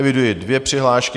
Eviduji dvě přihlášky.